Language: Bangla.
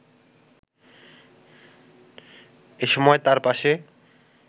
এ সময় তাঁর পাশে